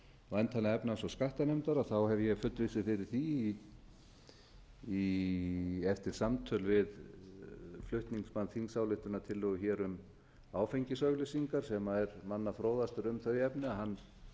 væntanlega efnahags og skattanefndar hef ég fullvissu fyrir því eftir samtöl við flutningsmann þingsályktunartillögu hér um áfengisauglýsingar sem er manna fróðastur um þau efni hann